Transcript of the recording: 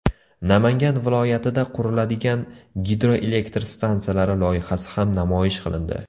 Namangan viloyatida quriladigan gidroelektr stansiyalari loyihasi ham namoyish qilindi.